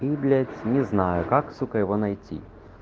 блять не знаю как сука его найти